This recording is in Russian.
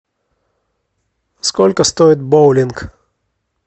сколько стоит боулинг